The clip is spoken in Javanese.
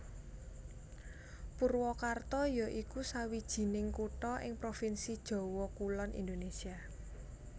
Purwakarta ya iku sawijining kutha ing provinsi Jawa Kulon Indonésia